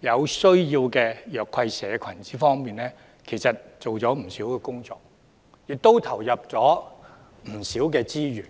有需要的弱勢社群方面做了不少工作，也投入了不少資源。